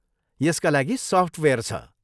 यसका लागि सफ्टवेयर छ।